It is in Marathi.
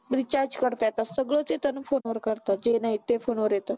recharge करता येतात सगळं येत ना फोनवर करता जे नाही ते फोनवर येतं.